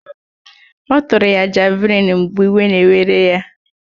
Ọ tụrụ ya javlịn mgbe iwe na-werere ya